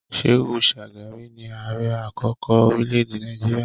Shehu Shagari ni ààrẹ àkọ́kọ́ orílẹ̀-èdè Nàìjíríà